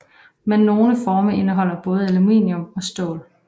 Men nogle forme indeholder både aluminium og stål